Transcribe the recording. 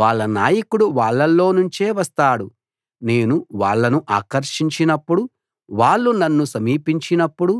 వాళ్ళ నాయకుడు వాళ్ళల్లోనుంచే వస్తాడు నేను వాళ్ళను ఆకర్షించినప్పుడు వాళ్ళు నన్ను సమీపించినప్పుడు